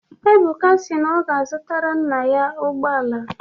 Ebuka na ọ ga-azụtara nna ya ụgbọ ala.